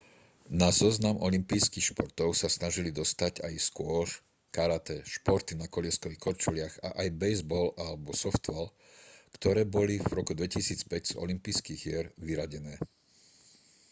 na zoznam olympijských športov sa snažili dostať aj squash karate športy na kolieskových korčuliach a aj bejzbal a softball ktoré boli v roku 2005 z olympijských hier vyradené